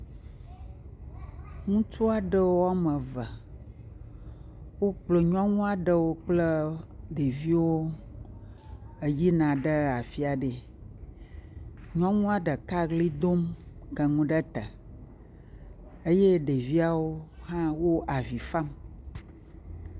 Ŋutsu aɖewo woame eve, wokplɔ nyɔnu aɖewo kple ɖeviwo eyina ɖe afi aɖea. Nyɔnua ɖeka ʋli dom ke nu ɖe te eye ɖeviawo hã wo avi fam.